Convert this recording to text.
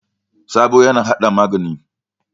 Sabo yana hada magani.